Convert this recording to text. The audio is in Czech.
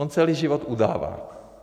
On celý život udává.